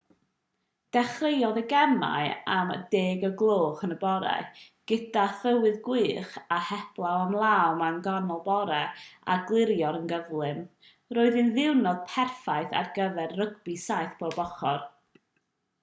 dechreuodd y gemau am 10:00am gyda thywydd gwych a heblaw am law mân ganol bore a gliriodd yn gyflym roedd hi'n ddiwrnod perffaith ar gyfer rygbi 7 pob ochr